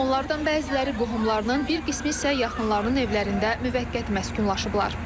Onlardan bəziləri qohumlarının, bir qismi isə yaxınlarının evlərində müvəqqəti məskunlaşıblar.